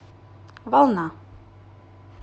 волна